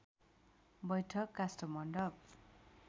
बैठक काष्ठमण्डप